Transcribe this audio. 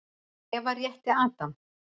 Eva rétti Adam.